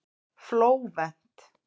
Flóvent